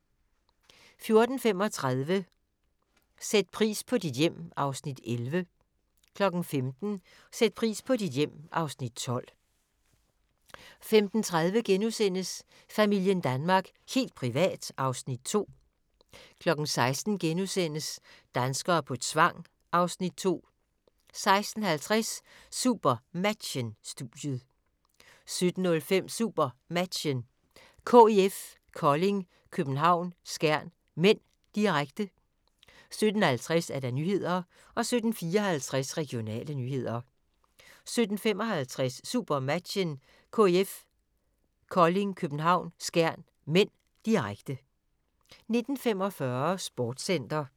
14:35: Sæt pris på dit hjem (Afs. 11) 15:00: Sæt pris på dit hjem (Afs. 12) 15:30: Familien Danmark – helt privat (Afs. 2)* 16:00: Danskere på tvang (Afs. 2)* 16:50: SuperMatchen: Studiet 17:05: SuperMatchen: KIF Kolding København-Skjern (m), direkte 17:50: Nyhederne 17:54: Regionale nyheder 17:55: SuperMatchen: KIF Kolding København-Skjern (m), direkte 19:45: Sportscenter